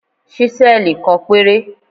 Ṣísẹ́ẹ̀lì kan péré.